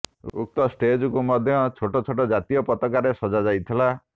ଉକ୍ତ ଷ୍ଟେଜ୍କୁ ମଧ୍ୟ ଛୋଟ ଛୋଟ ଜାତୀୟ ପତାକାରେ ସଜା ଯାଇଥିଲା